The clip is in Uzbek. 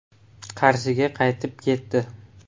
Qarshiga qaytib ketdi.